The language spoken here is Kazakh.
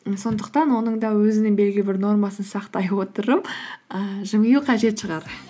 і сондықтан оның да өзінің белгілі бір нормасын сақтай отырып ііі жымию қажет шығар